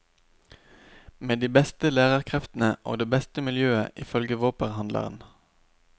Med de beste lærerkreftene og det beste miljøet ifølge våpenhandleren.